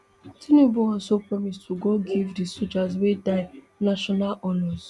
tinubu also promise to go give di sojas wey die national honours